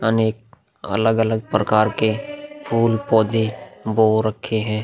अनेक अलग-अलग प्रकार के फूल-पौधे बो रखे हैं।